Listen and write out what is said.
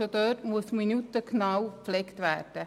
Denn es muss auf die Minute genau gepflegt werden.